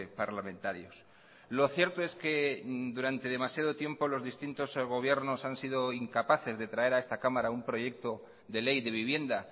parlamentarios lo cierto es que durante demasiado tiempo los distintos gobiernos han sido incapaces de traer a esta cámara un proyecto de ley de vivienda